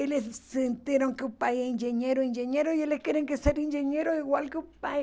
Eles sentiram que o pai é engenheiro, engenheiro, e eles querem que ser engenheiro igual que o pai.